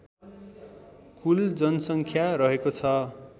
कुल जनसङ्ख्या रहेको छ